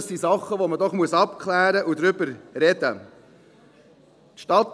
Das sind Sachen, die man doch abklären und über die man sprechen muss.